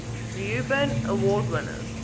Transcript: reuben award winners